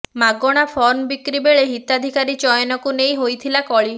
ମାଗଣା ଫର୍ମ ବିକ୍ରି ପରେ ହିତାଧିକାରୀ ଚୟନକୁ ନେଇ ହୋଇଥିଲା କଳି